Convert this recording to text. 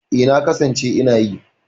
E, na kasance ina yi.